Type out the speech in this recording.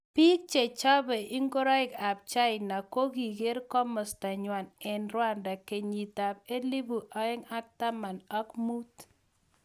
Bik chechopei ngoreik ab China kokiker kimosta nywa eng Rwanda kenyit ab elipu aeng ak taman ak.mut.